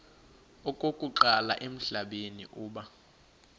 okokuqala emhlabeni uba